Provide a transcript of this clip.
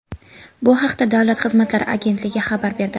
Bu haqda Davlat xizmatlari agentligi xabar berdi .